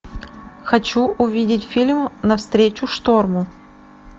хочу увидеть фильм навстречу шторму